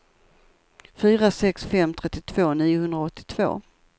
fyra sex fem sex trettiotvå niohundraåttiotvå